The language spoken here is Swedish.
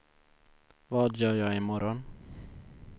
vad gör jag imorgon